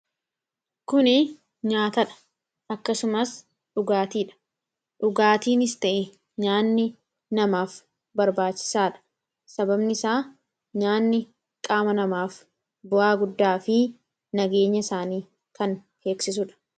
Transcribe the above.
kuni nyaataadha. akkasumas dhugaatiidha. dhugaatiinis ta'e nyaanni namaaf barbaachisaa dha sababni isaa nyaanni qaama namaaf bu'aa guddaa fi nageenya isaanii kan eegsisudha.